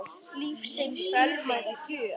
Lífsins dýrmæta gjöf.